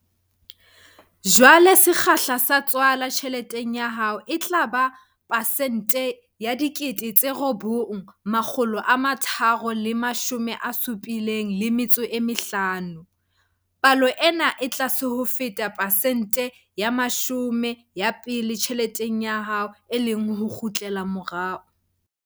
Jwale sekgahla sa tswala tjheleteng ya hao e tla ba pesente ya 9,375 Palo ena e tlase ho feta pesente ya 10 ya pele tjheleteng ya hao, e leng ho kgutlela morao.